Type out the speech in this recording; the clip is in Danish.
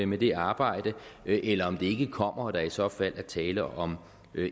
med det arbejde eller om det ikke kommer og om der i så fald er tale om